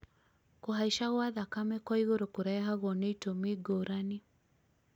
kũhaica gwa thakame kwa igũrũ kũrehagwo nĩ itumi ngũrani